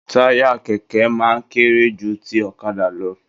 Taya kẹkẹ máa n kéré jù tí ọ̀kàdà lọ